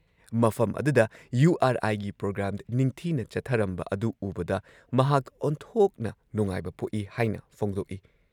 ꯃꯐꯝ ꯑꯗꯨꯗ U R ꯑꯥꯏꯒꯤ ꯄ꯭ꯔꯣꯒ꯭ꯔꯥꯝ ꯅꯤꯡꯊꯤꯅ ꯆꯠꯊꯔꯝꯕ ꯑꯗꯨ ꯎꯕꯗ ꯃꯍꯥꯛ ꯑꯣꯟꯊꯣꯛꯅ ꯅꯨꯡꯉꯥꯏꯕ ꯄꯣꯛꯏ ꯍꯥꯏꯅ ꯐꯣꯡꯗꯣꯛꯏ ꯫